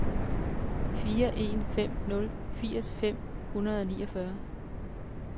fire en fem nul firs fem hundrede og niogfyrre